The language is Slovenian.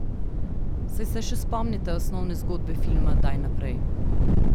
Saj se še spomnite osnovne zgodbe filma Daj naprej?